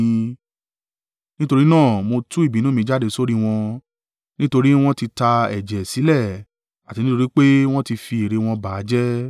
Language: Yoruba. Nítorí náà mo tú ìbínú mi jáde sórí wọn nítorí wọn ti ta ẹ̀jẹ̀ sílẹ̀ àti nítorí pé wọ́n ti fi ère wọn ba a jẹ́.